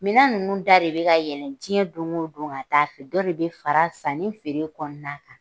Minɛn ninnu da de bɛ ka ka yɛlɛn diɲɛ don o don ka t'a fɛ , dɔ de bɛ fara sanni ani feere kɔnɔna kan